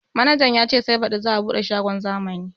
Manaja ya ce sai baɗi za a buɗe shagon zamani